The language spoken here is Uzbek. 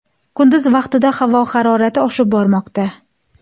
Kunduz vaqtida havo harorati oshib bormoqda.